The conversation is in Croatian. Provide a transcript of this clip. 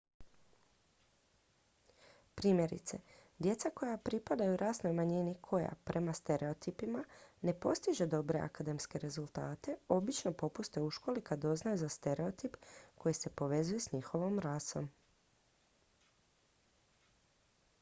primjerice djeca koja pripadaj rasnoj manjini koja prema stereotipima ne postiže dobre akademske rezultate obično popuste u školi kad doznaju za stereotip koji se povezuje s njihovom rasom